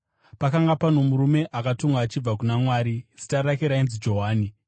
Pakanga pano murume akatumwa achibva kuna Mwari; zita rake rainzi Johani.